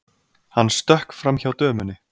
Hann stökk framhjá dömunni.